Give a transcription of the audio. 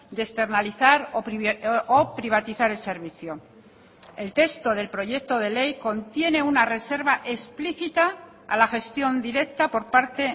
de externalizar o privatizar el servicio el texto del proyecto de ley contiene una reserva explícita a la gestión directa por parte